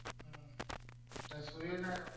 હમ ત્યાં સૂર્ય ના .